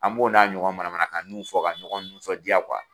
A b'o n'a ɲɔgɔn mana manakannuw fɔ ka ɲɔgɔn nisɔndiya